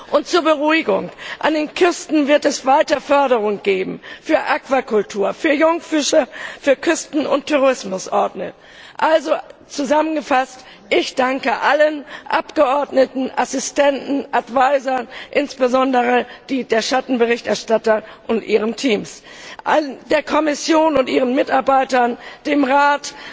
Und zur Beruhigung An den Küsten wird es weiter Förderung geben für Aquakultur, für Jungfische, für Küsten und Tourismusorte. Also, zusammengefasst Ich danke allen Abgeordneten, Assistenten, Advisern, insbesondere denen der Schattenberichterstatter, und ihren Teams, der Kommission und ihren Mitarbeitern, dem Rat,